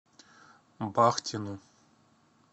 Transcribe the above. бахтину